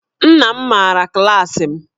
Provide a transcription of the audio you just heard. Nna m maara klaasị m